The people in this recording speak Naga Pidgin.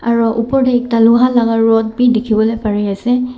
Aro upor tey ekta loha laka rod beh dekhe bole pare ase.